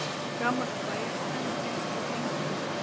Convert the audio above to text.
Gamalt bæjarstæði finnst við Þingmúla